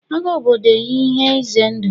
Agha obodo ihe ize ndụ